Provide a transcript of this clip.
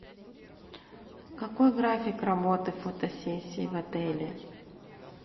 какой график работы фотосессии в отеле